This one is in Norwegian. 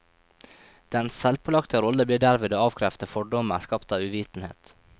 Dens selvpålagte rolle blir derved å avkrefte fordommer skapt av uvitenhet.